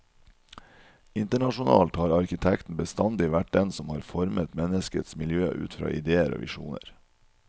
Internasjonalt har arkitekten bestandig vært den som har formet menneskets miljø ut fra idéer og visjoner.